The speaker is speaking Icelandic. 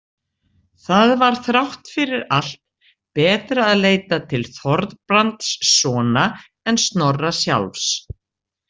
Það var þrátt fyrir allt betra að leita til Þorbrandssona en Snorra sjálfs.